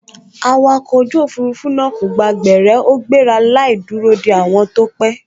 Awakọ̀ ojú òfurufú náà kò gba gbẹ̀rẹ́ ó gbéra láì dúró de àwọn tó pẹ́